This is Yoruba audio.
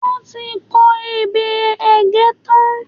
Wọ́n ti kọ ebè Ẹ̀gẹ́ tán.